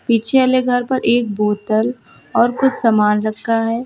पीछे वाले घर पर एक बोतल और कुछ सामान रखा है।